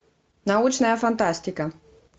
научная фантастика